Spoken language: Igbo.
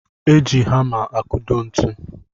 E ji hama akudo ntụ